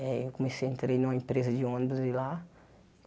Eh eu comecei eu entrei em uma empresa de ônibus de lá.